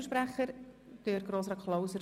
Das Wort hat Grossrat Klauser